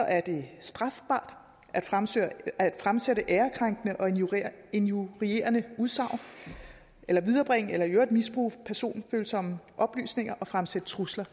er det strafbart at fremsætte at fremsætte ærekrænkende og injurierende udsagn eller viderebringe eller i øvrigt misbruge personfølsomme oplysninger og fremsætte trusler